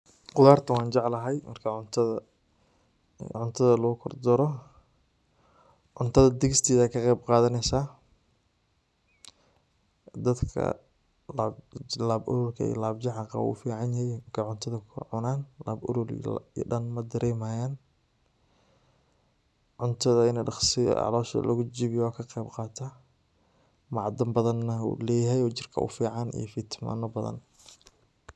Qudarta wan jeclahay marka cuntada lugu kor daro, cuntada digsigad kaqeb qadaneysa, dadka lab ololka iyo lab jeexa qaboo uu ufican yehe markay cuntda kukor cunan lab olol dhan madareemayan, cuntada ini dhaqsi calosha lugu jejebiyo dhaqsi laqeb qaata, macdan badn na wuu leyahay oo jirka u fican iyo fitimino badan